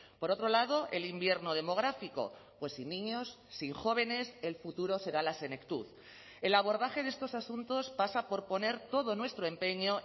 por otro lado el invierno demográfico pues sin niños sin jóvenes el futuro será la senectud el abordaje de estos asuntos pasa por poner todo nuestro empeño